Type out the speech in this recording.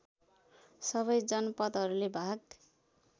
सबै जनपदहरूले भाग